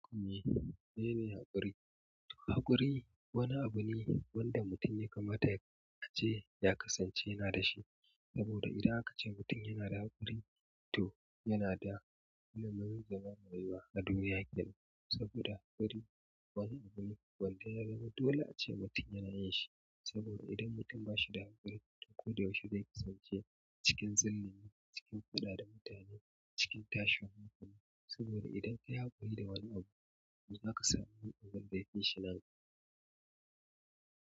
Meye ne haƙuri? Haƙuri wani abu ne wanda mutum ya kamata yace ya kasance yana da shi. Saboda idan aka ce mutum yana da haƙuri, to yana da ilimin zama mai baiwa na duniya kenan. Saboda haƙuri wani abu ne wanda ya zama dole ace mutum yana yin shi. Saboda idan mutum bahida haƙuri kullum zai kasanche cikin zullumi cikin faɗa da mutane saboda idan kayi haƙuri da abu zaka samu wanda ya fishi nan gaba.